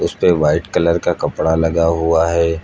उसपे white colour का कपड़ा लगा हुआ है।